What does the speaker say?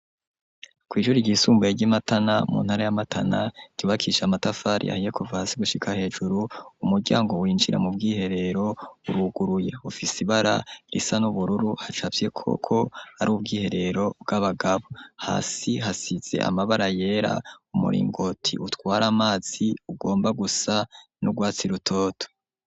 kw'ishuri ryisumbuye ry'imatana mu ntara ya matana ryubakishe amatafari ahiye kuva hasi gushika hejuru umuryango winjira mu bwiherero uruguruye ufise ibara risa n'ubururu hacafyeko ko ari ubwiherero bw'abagabo hasi hasize amabara yera umuringoti utwara amazi ugomba gusa n'ugwatsi rutoto.